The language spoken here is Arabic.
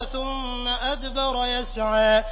ثُمَّ أَدْبَرَ يَسْعَىٰ